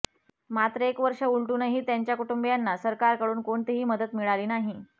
मात्र एक वर्ष उलटूनही त्यांच्या कुटुंबीयांना सरकारकडून कोणतीही मदत मिळाली नाही